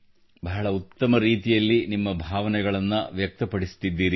ಬಹಳ ಉತ್ತಮ ರೀತಿಯಲ್ಲಿ ನಿಮ್ಮ ಭಾವನೆಗಳನ್ನು ವ್ಯಕ್ತಪಡಿಸುತ್ತಿದ್ದೀರಿ